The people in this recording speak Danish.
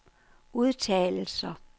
udtalelser